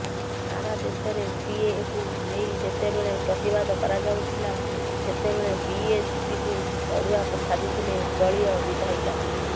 ସାରା ଦେଶରେ ସିଏଏକୁ ନେଇ ଯେତେବେଳେ ପ୍ରତିବାଦ କରାଯାଉଥିଲା ସେତେବେଳେ ବିଏସପିକୁ ଅଡୁଆ ସାଜିଥିଲେ ଦଳୀୟ ବିଧାୟିକା